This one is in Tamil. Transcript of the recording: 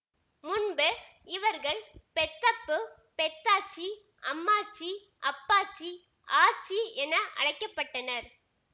முன்பு இவர்கள் பெத்தப்பு பெத்தாச்சி அம்மாச்சி அப்பாச்சி ஆச்சி என அழைக்க பட்டனர்